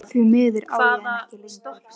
Því miður á ég hana ekki lengur.